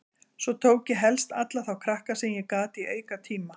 Svo tók ég helst alla þá krakka sem ég gat í aukatíma.